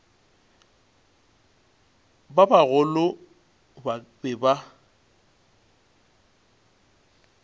ba bagolo ba be ba